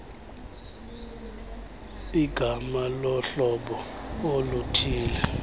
ligama lohlobo oluthille